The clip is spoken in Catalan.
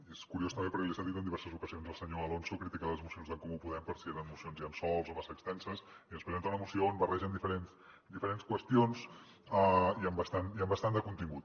i és curiós també perquè li he sentit en diverses ocasions al senyor alonso criticar les mocions d’en comú podem per si eren mocions llençol o massa extenses i ens presenta una moció on barregen diferents qüestions i amb bastant de contingut